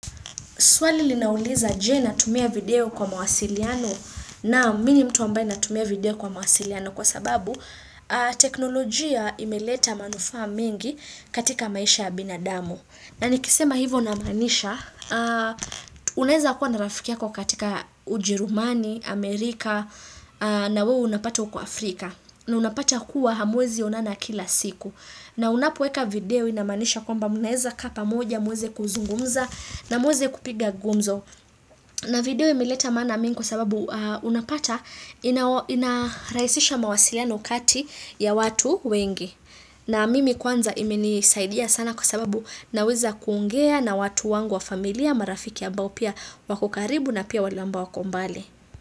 Swali linauliza je na tumia video kwa mawasiliano naam na mii ni mtu wambai na tumia video kwa mawasiliano kwa sababu teknolojia imeleta manufaa mingi katika maisha ya binadamu. Na nikisema hivo namanisha, uneweza kuwa na rafiki yako katika ujerumani, Amerika, na wewe unapata uko Afrika. Na unapata kuwa hamwezi onana kila siku na unapoweka video inamanisha kwamba munaweza kaa pamoja muweze kuzungumza na muweze kupiga gumzo na video imileta maana mingi kwa sababu unapata inaraisisha mawasiliano kati ya watu wengi na mimi kwanza imeni saidia sana kwa sababu naweza kuongea na watu wangu wa familia marafiki ambao pia wako karibu na pia wale amboa wako mbali.